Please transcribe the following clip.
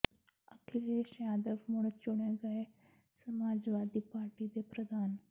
ਅਖਿਲੇਸ਼ ਯਾਦਵ ਮੁੜ ਚੁਣੇ ਗਏ ਸਮਾਜਵਾਦੀ ਪਾਰਟੀ ਦੇ ਪ੍ਰਧਾਨ